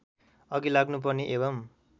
अघि लाग्नुपर्ने एवं